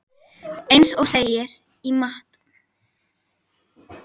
Eins og segir í Matt.